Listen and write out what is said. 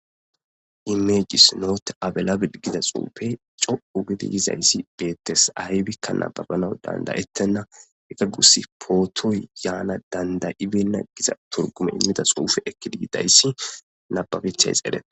Image is not availabile giza xuufey co'u gidi yozays beetes aybika nababanaw danda'etena hesa gusi putoy yana danda,'ibena giza xuufe eki yidaaysi nababetes eretena